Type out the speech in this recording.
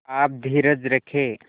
आप धीरज रखें